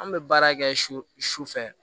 An bɛ baara kɛ su fɛ